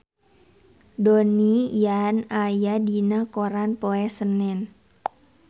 Donnie Yan aya dina koran poe Senen